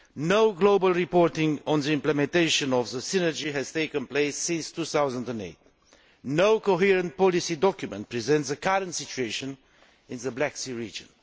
No global reporting on the implementation of the Synergy has taken place since 2008. No coherent policy document presents the current situation in the Black Sea region.